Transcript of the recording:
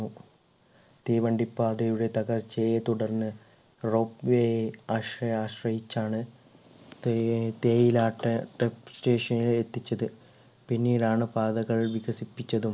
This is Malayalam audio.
തീവണ്ടിപ്പാതയുടെ തകർച്ചയെ തുടർന്ന് rock way അഷ്യെ ആശ്രയിച്ചാണ് തേ തേയിലാട്ട station നിൽ എത്തിച്ചത് പിന്നീടാണ് പാതകൾ വികസിപ്പിച്ചതും